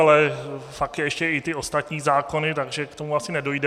Ale pak jsou ještě i ty ostatní zákony, takže k tomu asi nedojde.